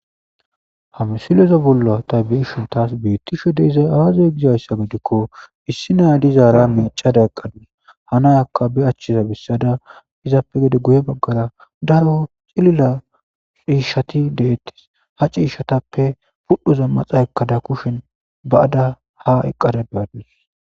hamsileza bolla ta biishuntas biittishe deizay aaza gizayssa gedikko issi nayadizaara mecada eqqade hanayakka be achchiza bissada izaappe gede guye baggara daro cilila ciishati deettes ha ciishatappe pudhoza maxa ekkada kushen ba7ada ha eqqada beaddis